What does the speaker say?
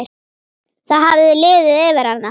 Það hafði liðið yfir hana!